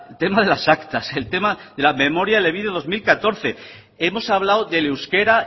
tema de las actas el tema de la memoria elebide dos mil catorce hemos hablado del euskera